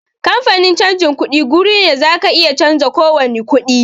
Kamfanin canjin kuɗi guri ne da zaka iya canza kowani kuɗi